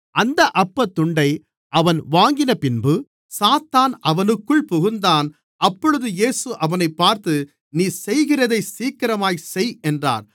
அந்த அப்பத் துண்டை அவன் வாங்கினபின்பு சாத்தான் அவனுக்குள் புகுந்தான் அப்பொழுது இயேசு அவனைப் பார்த்து நீ செய்கிறதைச் சீக்கிரமாகச் செய் என்றார்